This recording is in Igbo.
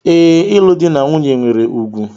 Ee, ịlụ di na nwunye nwere ùgwù.